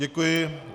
Děkuji.